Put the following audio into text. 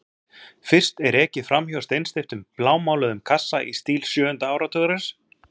Fyrst er ekið fram hjá steinsteyptum blámáluðum kassa í stíl sjöunda áratugarins.